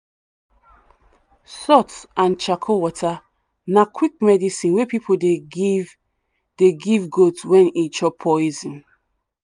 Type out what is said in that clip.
salt and charcoal water na quick medicine wey people dey give dey give goat when e chop poison.